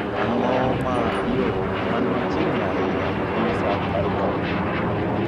Ang'o ma yo man machiegni ahinya gi safaricom